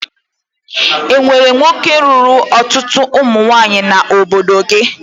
E nwere nwoke lụrụ ọtụtụ ụmụnwaanyị n'obodo gị?